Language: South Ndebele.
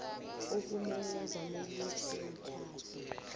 okumele zaneliswe mitjhado